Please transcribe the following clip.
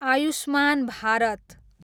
Ayushman Bharat